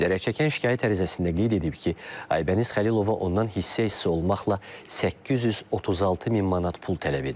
Zərərçəkən şikayət ərizəsində qeyd edib ki, Aybəniz Xəlilova ondan hissə-hissə olmaqla 836 min manat pul tələb edib.